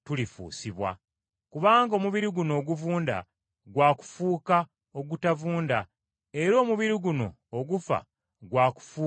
Kubanga omubiri guno oguvunda gwa kufuuka ogutavunda, era omubiri guno ogufa gwa kufuuka ogutafa.